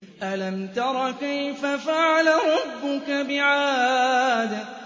أَلَمْ تَرَ كَيْفَ فَعَلَ رَبُّكَ بِعَادٍ